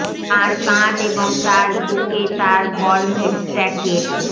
তার কাঁধ এবং তার বুকে তার বর্ম এর স্ট্যাকের